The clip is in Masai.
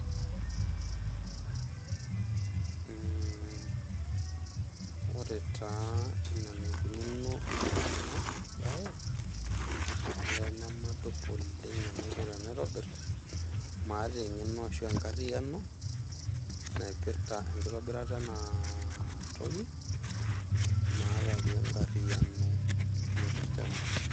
Mhh ,ore taa enaa enaikununo ena bae , olee nemadup oleng enaiko tenaitobir, maata engeno ashuaa enkariano naipirta enkitobirata ena toki ,maata pi enkariano naipirta ena.